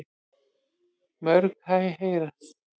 Mörg hæ heyrast.